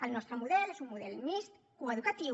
el nostre model és un model mixt coeducatiu